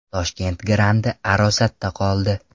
Toshkent grandi arosatda qoldi.